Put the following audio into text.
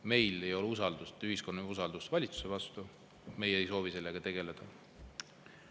Meil ei ole ühiskonna usaldust valitsuse vastu, aga meie ei soovi sellega tegeleda.